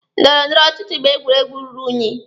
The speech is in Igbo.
Ndọrọ ndọrọ ọchịchị bụ egwuregwu ruru unyi.